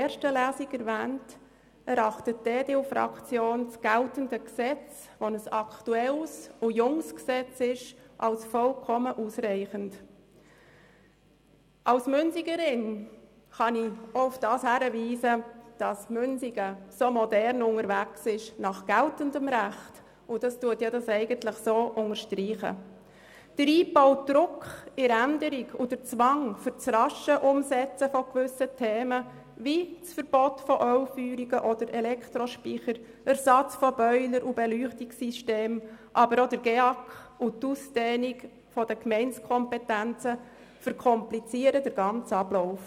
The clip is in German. Der eingebaute Druck bei der Änderung und der Zwang zum raschen Umsetzen von gewissen Themen – wie das Verbot von Ölfeuerungen oder Elektrospeichern, der Ersatz von Boilern und Beleuchtungssystemen oder auch der GEAK und die Ausdehnung der Gemeindekompetenzen – verkomplizieren den ganzen Ablauf.